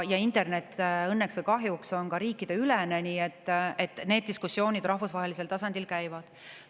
Internet on õnneks või kahjuks riikideülene, nii et need diskussioonid rahvusvahelisel tasandil käivad.